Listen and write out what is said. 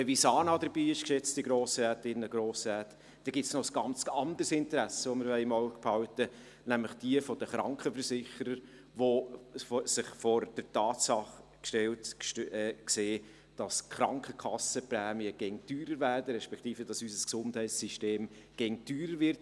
Wenn die Visana dabei ist, dann gibt es noch ein ganz anderes Interesse, nämlich dasjenige der Krankenversicherer, welche sich vor die Tatsache gestellt sehen, dass die Krankenkassenprämien immer teurer werden, respektive dass unser Gesundheitssystem immer teurer wird.